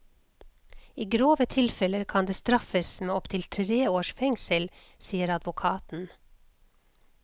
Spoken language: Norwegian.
I grove tilfeller kan det straffes med opptil tre års fengsel, sier advokaten.